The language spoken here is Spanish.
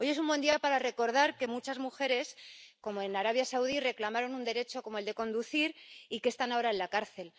Hoy es un buen día para recordar que muchas mujeres, como en Arabia Saudí, reclamaron un derecho, como el de conducir, y que están ahora en la cárcel.